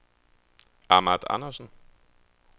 Ahmad Andersen